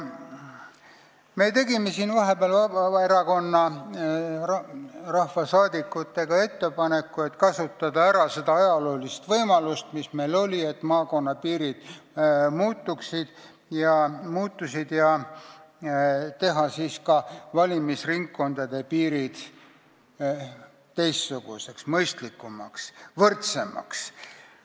Ma tegin vahepeal koos teiste Vabaerakonna rahvasaadikutega ettepaneku kasutada ära seda ajaloolist võimalust, mis meil oli, et maakonnapiirid muutusid, ja teha ka valimisringkondade piirid teistsuguseks, mõistlikumaks, võrdsemaks.